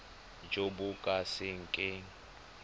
jo bo ka se keng